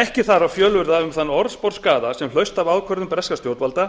ekki þarf að fjölyrða um þann orðsporsskaða sem hlaust af ákvörðun breskra stjórnvalda